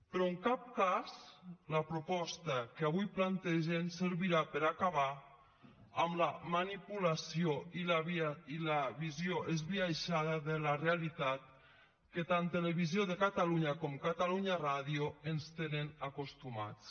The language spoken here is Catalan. però en cap cas la proposta que avui plantegen servirà per acabar amb la manipulació i la visió esbiaixada de la realitat a què tant televisió de catalunya com catalunya ràdio ens tenen acostumats